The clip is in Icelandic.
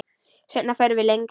Seinna förum við lengra.